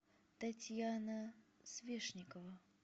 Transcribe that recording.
татьяна свешникова